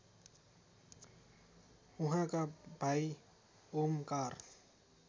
उहाँका भाइ ओमकार